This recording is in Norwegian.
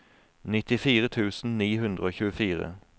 nittifire tusen ni hundre og tjuefire